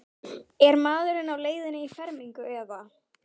Er maðurinn á leiðinni í fermingu eða?